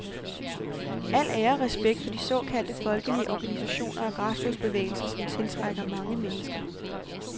Al ære og respekt for de såkaldte folkelige organisationer og græsrodsbevægelser, som tiltrækker mange mennesker.